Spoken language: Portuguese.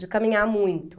de caminhar muito.